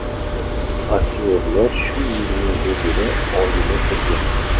Aktyorlar shu yilning o‘zida oila qurgan.